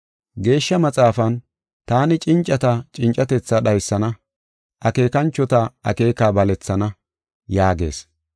Geeshsha Maxaafan, “Taani cincata cincatethaa dhaysana; akeekanchota akeeka balethana” yaagees.